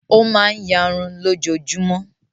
Ó máa ń ìyarun lójoojúmọ́.